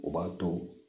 O b'a to